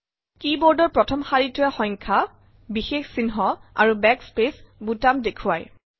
কী বোৰ্ডৰ প্ৰথম শাৰীটোৱে সংখ্যা বিষেশ চিহ্ন আৰু বেক স্পেচ বুটাম দেখুৱাই